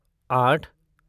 आठ